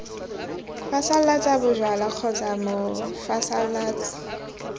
phasalatsa bojalwa kgotsa b mophasalatsi